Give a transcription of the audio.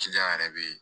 yɛrɛ bɛ ye